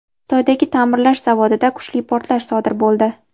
Xitoydagi ta’mirlash zavodida kuchli portlash sodir bo‘ldi.